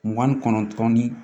Mugan ni kɔnɔntɔn ni